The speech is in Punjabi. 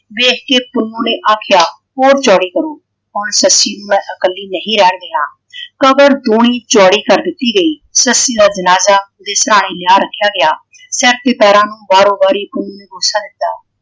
ਵੇਖ ਕੇ ਪੁੰਨੂੰ ਨੇ ਆਖਿਆ ਹੋਰ ਚੌੜੀ ਕਰੋ। ਹੁਣ ਸੱਸੀ ਨੂੰ ਮੈਂ ਇਕੱਲੀ ਨਹੀਂ ਰਹਿਣ ਦੇਣਾ। ਕਬਰ ਦੂਣੀ ਚੌੜੀ ਕਰ ਦਿੱਤੀ ਗਈ। ਸੱਸੀ ਦਾ ਜਨਾਜਾ ਓਹਦੇ ਸਿਹਰਾਣੇ ਲਾ ਰੱਖਿਆ ਗਿਆ। ਚੱਕ ਕੇ ਪੈਰਾਂ ਨੂੰ ਵਾਰੋ ਵਾਰੀ ਪੁੰਨੂੰ ਨੇ ਰੋਸ ਦਿੱਤਾ।